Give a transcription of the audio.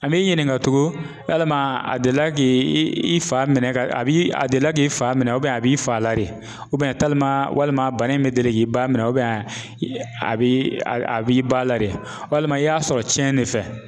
An b'i ɲininka tugun yalima a delila k'i i fa minɛ ka a b'i a delila k'i fa minɛ a b'i fa la de walima bana in bɛ deli k'i ba minɛ a b'i a b'i ba la de walima i y'a sɔrɔ cɛn de fɛ?